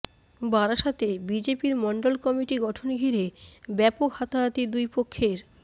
বারাসতে বিজেপির মণ্ডল কমিটি গঠন ঘিরে ব্যাপক হাতাহাতি দুই পক্ষের